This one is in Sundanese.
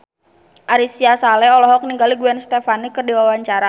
Ari Sihasale olohok ningali Gwen Stefani keur diwawancara